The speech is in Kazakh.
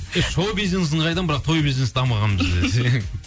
шоу бизнесін қайдам бірақ той бизнес дамыған бізде